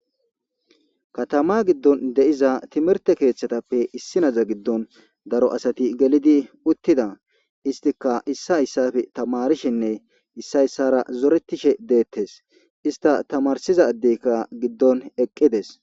Katama giddon deiza timirte keeththatappe issi naza giddon daro asati gelidi uttida istika issa yssafe tamarishinne issa yssara zoretishe deettes ista tamarsizadeykka giddon eqqides.